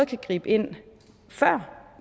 kan gribe ind før